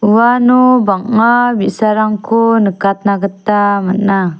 uano bang·a bi·sarangko nikatna gita man·a.